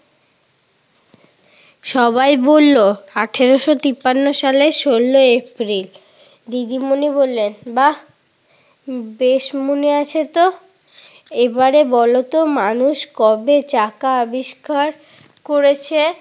সবাই বলল, আঠারোশো তিপ্পান্ন সালের ষোলই এপ্রিল। দিদিমণি বললেন, বাহ! বেশ মনে আছে তো। এবারে বলতো মানুষ কবে চাকা আবিষ্কার করেছে?